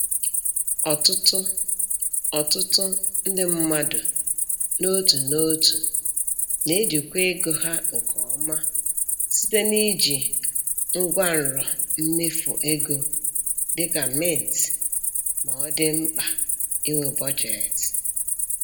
Ọtụtụ Ọtụtụ ndị mmadụ n'otu n'otu na-ejikwa ego ha nke ọma site na iji ngwanrọ mmefu ego dị ka Mint ma ọ dị Mkpa inwe Budget.